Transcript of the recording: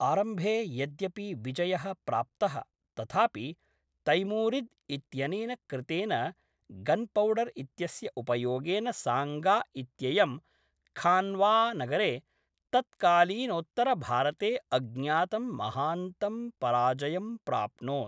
आरम्भे यद्यपि विजयः प्राप्तः तथापि तैमूरिद् इत्यनेन कृतेन गन्पौडर् इत्यस्य उपयोगेन साङ्गा इत्ययं खान्वानगरे तत्कालीनोत्तरभारते अज्ञातं महान्तं पराजयं प्राप्नोत्।